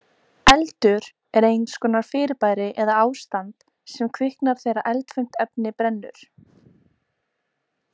Eldur er eins konar fyrirbæri eða ástand sem kviknar þegar eldfimt efni brennur.